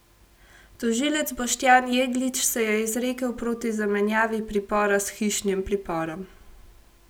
Tožilec Boštjan Jeglič se je izrekel proti zamenjavi pripora s hišnim priporom.